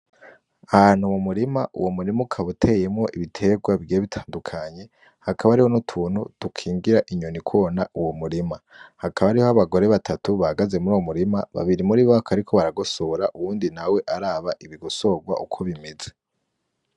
Ahantu mu murima uwo murima ukaba uteyemwo ibiterwa bigiye bitandukanye, hakaba hariho utuntu dunkingira inyonikona uwo murima. Hakaba hariho abagore batatu bahagaze muri uwo murima babiri muribo bakaba bariko baragosora uwundi nawe araba ibigosorwa uko bimeze.